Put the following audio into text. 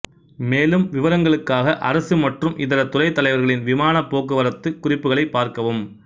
மேலும் விவரங்களுக்காக அரசு மற்றும் இதர துறைத் தலைவர்களின் விமானப்போக்குவரத்து குறிப்புகளைப் பார்க்கவும்